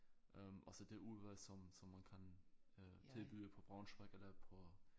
Øh også det udvalg som som man kan øh tilbyde på Braunschweig eller på